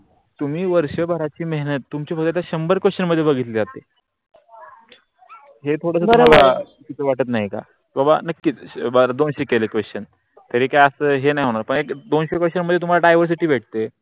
तुम्ही शंबर वर्षाची मेहनत तुम्ही फक्त शंबर question मध्ये बघितले जाते. चुकीच वाटत नाही का? बाबा नक्कीच बर दोनशे केले question तरी काय अस हे नाही होणार दोनशे question मध्ये तुम्हाला diversity भेटते.